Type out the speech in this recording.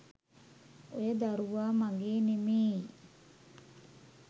ඔය දරුවා මගේ නෙමේයි